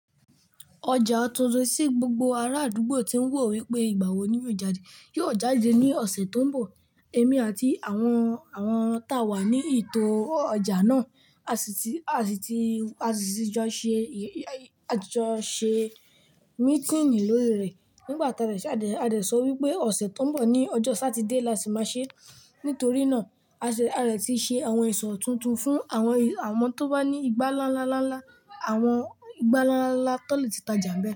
Ọjà tuntun ti gbogbo ara àdúgbò ti ń wò wípé ìgbà wo ní yóò jáde, yóò jáde ní ọ̀sẹ̀ tó ń bọ̀. Èmi àti àwọn, àwọn tá wà ní ètò ọjà náà, a sì ti, a sì ti, a sì ti jọ ṣe, a ti jọ ṣe mítínì lórí rẹ̀. Nígbà tá dẹ̀ ṣe, a dẹ̀, a dẹ̀ sọ wípé ọ̀sẹ̀ tó ń bọ̀ ní ọjọ́ Satide la sì máa ṣe. Nítorí náà a sì, a rẹ̀ ti ṣe àwọn ẹ̀sọ́ tuntun fún àwọn, àwọn tó bá ní igbá ńlá ńlá ńlá ńlá, àwọn igbá ńlá ńlá ńlá tó lè ti tàjà ńbẹ̀.